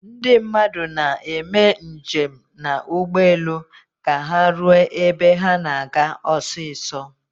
Ndị mmadụ na-eme njem na ugbu elu ka ha ruo ebe ha na-aga osiso